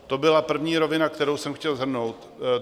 To byla první rovina, kterou jsem chtěl shrnout.